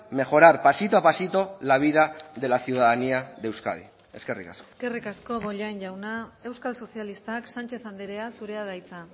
mejorar pasito a pasito la vida de la ciudadanía de euskadi eskerrik asko eskerrik asko bollain jauna euskal sozialistak sánchez andrea zurea da hitza